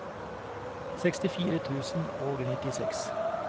sekstifire tusen og nittiseks